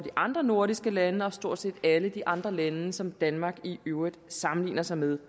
andre nordiske lande og stort set alle de andre lande som danmark i øvrigt sammenligner sig med